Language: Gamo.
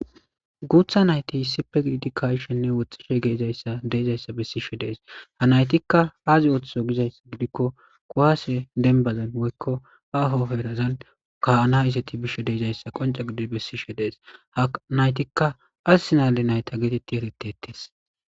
guutha nayti issippe giidi kashenne woxxishe geezayssa deezayssa bessishe dees ha naytikka aazi ooththo gizayssa gidikko kowaase denbazan woykko aahoheerazan kaana isati bishe deeizayssa qonca gidi bessishe dees ha naytikka assinale nayta geetetti herettetes